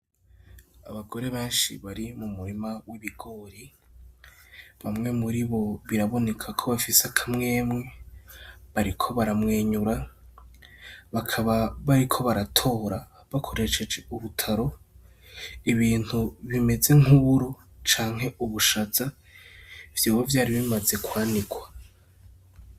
Abagore benshi bari mu murima w'ibigori bamwe muri bo biraboneka ko bafise akamwemwe bariko baramwenyura bakaba bariko baratora bakoresheje ubutaro ibintu bimeze nk'uru canke ubushaza vyobo vyari bimaze kwandikwa.